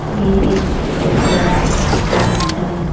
ये एक कपड़ा का दुकान है।